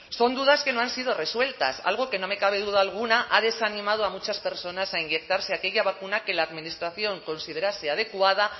son dudas que no han sido resueltas algo que no me cabe duda alguna ha desanimado a muchas personas a inyectarse aquella vacuna que la administración considerase adecuada